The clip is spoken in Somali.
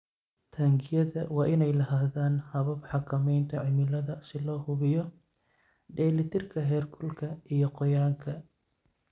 Taangiyada waa inay lahaadaan habab xakamaynta cimilada si loo hubiyo dheelitirka heerkulka iyo qoyaanka.